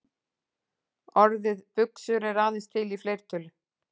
Orðið buxur er aðeins til í fleirtölu.